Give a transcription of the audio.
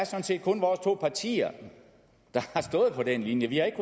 set kun vores to partier der har stået for den linje vi har ikke